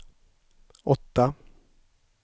åtta